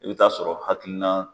I bɛ taa sɔrɔ hakilina.